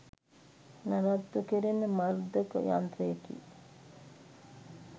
නඩත්තු කෙරෙන මර්ධක යන්ත්‍රයකි.